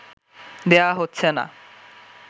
দেয়া হচ্ছে না